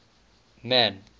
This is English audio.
man